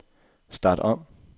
start om